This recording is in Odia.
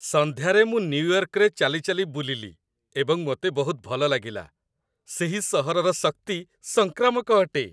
ସନ୍ଧ୍ୟାରେ ମୁଁ ନ୍ୟୁୟର୍କରେ ଚାଲିଚାଲି ବୁଲିଲି ଏବଂ ମୋତେ ବହୁତ ଭଲ ଲାଗିଲା। ସେହି ସହରର ଶକ୍ତି ସଂକ୍ରାମକ ଅଟେ।